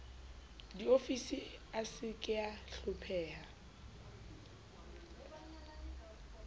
diofisi a se kea hlopheha